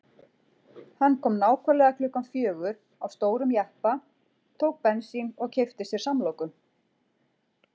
Hann kom nákvæmlega klukkan fjögur á stórum jeppa, tók bensín og keypti sér samloku.